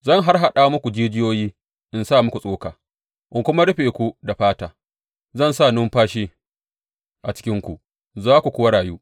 Zan harhaɗa muku jijiyoyi in sa muku tsoka in kuma rufe ku da fata; zan sa numfashi a cikinku, za ku kuwa rayu.